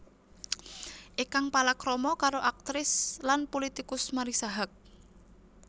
Ikang palakrama karo aktris lan pulitikus Marissa Haque